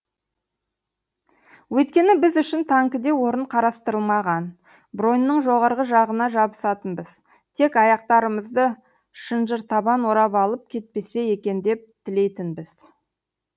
өйткені біз үшін танкіде орын қарастырылмаған броньнің жоғарғы жағына жабысатынбыз тек аяқтарымызды шынжыртабан орап алып кетпесе екен деп тілейтінбіз